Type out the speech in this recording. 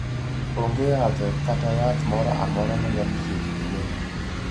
Onge yadhe kata yath moro amora manyalo thiedho tuwono.